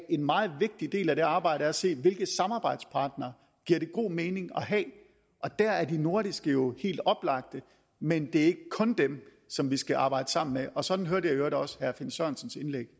en meget vigtig del af det arbejde er at se på hvilke samarbejdspartnere det giver god mening at have og der er de nordiske jo helt oplagte men det er jo ikke kun dem som vi skal arbejde sammen med og sådan hørte jeg i øvrigt også herre finn sørensens indlæg